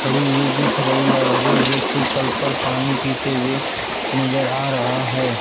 पड़ी हुई दिख रही है और एक व्यक्ति कल पर पानी पीते हुए नजर आ रहा है।